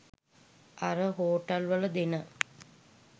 අර හෝටල් වල දෙන